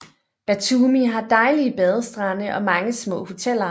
Batumi har dejlige badestrande og mange små hoteller